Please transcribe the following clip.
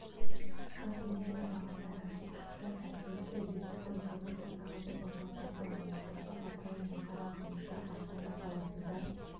жалпы энергия бағасы әр аймақта әркелкі электрдің квт сағаты павлодарда маңғыстауда атырау мен қарғандыда астана қаласында